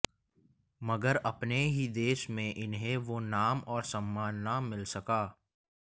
मगर अपने ही देश में इन्हें वो नाम और सम्मान न मिल सका